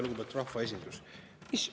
Lugupeetud rahvaesindus!